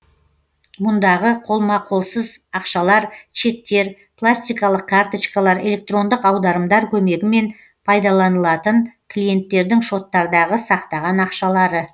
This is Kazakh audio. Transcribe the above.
мұндағы қолма қолсыз ақшалар чектер пластикалық карточкалар электрондық аударымдар көмегімен пайдаланылатын клиенттердің шоттардагы сақтаған ақшалары